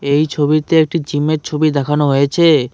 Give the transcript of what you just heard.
এই ছবিতে একটি জিমের ছবি দেখানো হয়েছে।